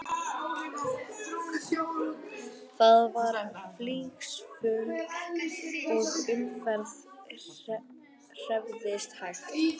Það var flygsufjúk og umferðin hreyfðist hægt.